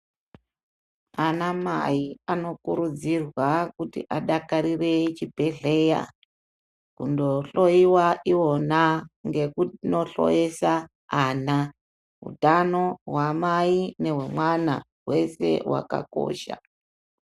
Anamai anokurudzirwa kuti adakarire chibhedhleya .Kundohloyiwa ivona ngekundohloyesa ana. Utano hwamai nehwemwana hwese hwakakosha.